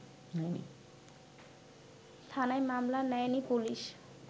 থানায় মামলা নেয়নি পুলিশ